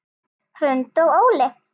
Hrund og Óli.